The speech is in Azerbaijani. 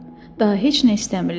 Daha heç nə istəmirlər.